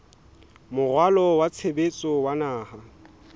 moralo wa tshebetso wa naha